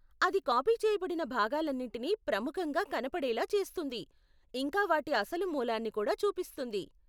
అది కాపీ చేయబడిన భాగాలన్నిటినీ ప్రముఖంగా కనపడేలా చేస్తుంది, ఇంకా వాటి అసలు మూలాన్ని కూడా చూపిస్తుంది.